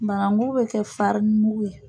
Bananku be kɛ mugu ye